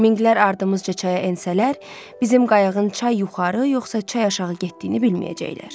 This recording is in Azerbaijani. Minqlər ardımızca çaya ensələr, bizim qayığın çay yuxarı, yoxsa çay aşağı getdiyini bilməyəcəklər.